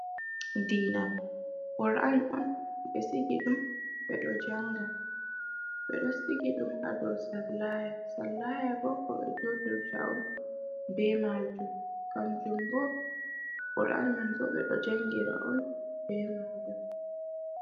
Diina! Qur'an on be sigi dum bedo janga. Bedo sigi dum hado sallaya. Sallaya bo, ko be julirta on be majum. Kanjum bo Qur'an man bo, be do jangira on be majum